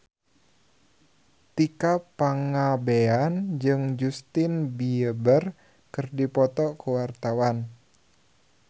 Tika Pangabean jeung Justin Beiber keur dipoto ku wartawan